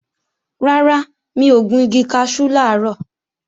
Rárá, mi ò gun igi kaṣú làárọ̀